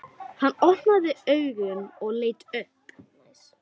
Hann opnaði augun og leit upp.